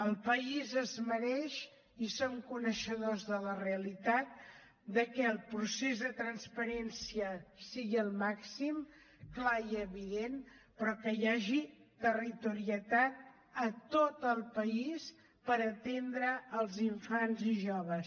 el país es mereix i som coneixedors de la realitat de que el procés de transparència sigui al màxim clar i evident però que hi hagi territorialitat a tot el país per atendre els infants i joves